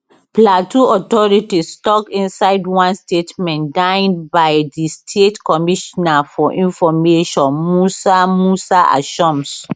plateau authorities tok inside one statement digned by di state commissioner for information musa musa ashoms